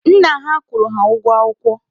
Nna ha kwụrụ ha ụgwọ akwụkwọ.